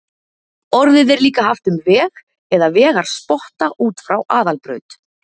Orðið er líka haft um veg eða vegarspotta út frá aðalbraut.